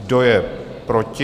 Kdo je proti?